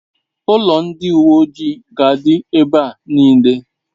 Ulo ndi uwe ojii ga'adi ebe nile